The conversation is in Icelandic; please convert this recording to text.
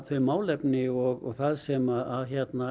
þau málefni og það sem